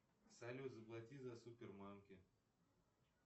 салют заплати за супермамки